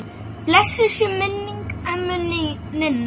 Blessuð sé minning ömmu Ninnu.